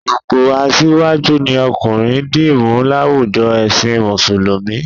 Ipò asíwájú ni ọkùnrin dì mú láwùjo ẹ̀sìn Mùsùlùmí